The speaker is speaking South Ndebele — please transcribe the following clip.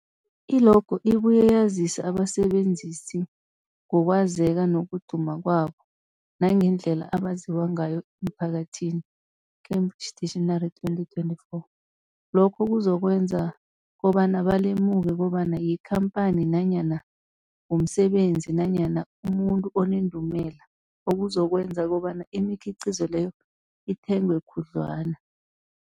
I-logo ibuye yazise abasebenzisi ngokwazeka nokuduma kwabo nangendlela abaziwa ngayo emphakathini, Cambridge Dictionary 2024. Lokho kuzokwenza kobana balemuke kobana yikhamphani nanyana umsebenzi nanyana umuntu onendumela, okuzokwenza kobana imikhiqhizo leyo ithengwe khudlwana.